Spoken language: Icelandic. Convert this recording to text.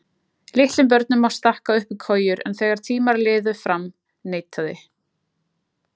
Litlum börnum má stakka upp í kojur en þegar tímar liðu fram neitaði